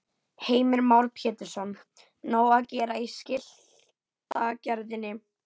Heimir Már Pétursson: Nóg að gera í skiltagerðinni?